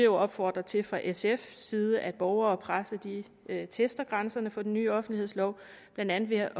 opfordre til fra sfs side at borgere og presse tester grænserne for den nye offentlighedslov blandt andet ved at